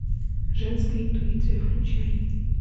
женская интуиция включай